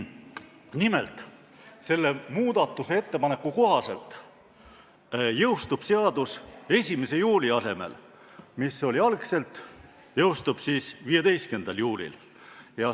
Nimelt, selle muudatusettepaneku kohaselt jõustub seadus 1. juuli asemel, mis oli algne tähtpäev, 15. juulil.